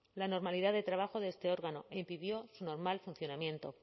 la normalidad de trabajo de este órgano e impidió su normal funcionamiento